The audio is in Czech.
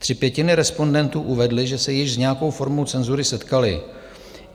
Tři pětiny respondentů uvedly, že se již s nějakou formou cenzury setkaly.